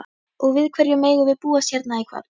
Og við hverju megum við búast hérna í kvöld?